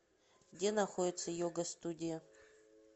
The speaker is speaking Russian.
где находится йога студия